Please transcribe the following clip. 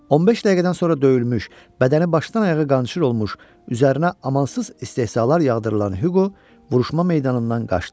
15 dəqiqədən sonra döyülmüş, bədəni başdan-ayağa qançır olmuş, üzərinə amansız istehzalar yağdırılan Huqo vuruşma meydanından qaçdı.